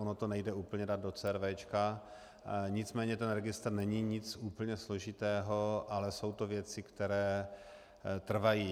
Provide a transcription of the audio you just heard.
Ono to nejde úplně dát do CRV, nicméně ten registr není nic úplně složitého, ale jsou to věci, které trvají.